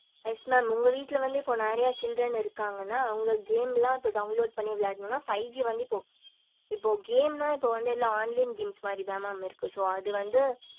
yes mam உங்க வீட்டுல வந்து நெறைய children இருகுக்கனா அவுங்க game லா இப்போ download பண்ணி விளயடுனும்ன இப்போ five G வந்து இப்போ இப்போ game னா இப்போ வந்து எல்லா online games மாதிரி தா mam இருக்கு so அது வந்து